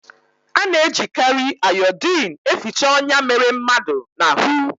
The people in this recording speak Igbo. Ana ejikari iodine eficha onya mere mmadu na hu